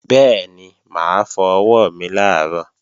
Bẹ́ẹ̀ni, mà á fọ ọwọ́ mi làárọ̀